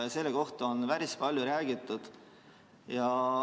Sellest on päris palju räägitud.